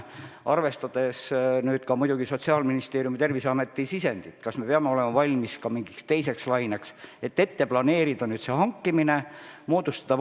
Arvestada tuleb muidugi ka Sotsiaalministeeriumi ja Terviseameti prognoosi, kas me peame olema valmis mingiks teiseks laineks ja selleks varud moodustama.